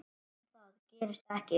En það gerist ekki.